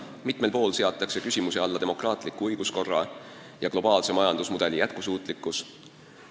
Mitmel pool on seatud küsimuse alla demokraatliku õiguskorra ja globaalse majandusmudeli jätkusuutlikkus.